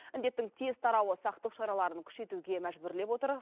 індеттің тез тарауы сақтық шараларын күшейтуге мәжбүрлеп отыр